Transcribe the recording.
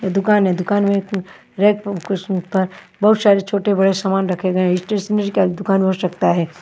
दुकान है दुकान मेंरे पर बहुत सारे छोटे बड़े सामान रखे गए हैं स्टेशनरी का दुकान हो सकता है।